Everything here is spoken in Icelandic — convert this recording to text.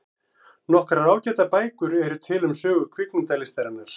Nokkrar ágætar bækur eru til um sögu kvikmyndalistarinnar.